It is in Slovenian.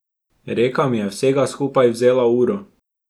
Reka mi je vsega skupaj vzela uro.